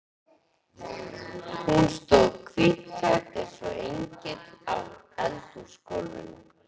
Hún stóð hvítklædd eins og engill á eldhúsgólfinu.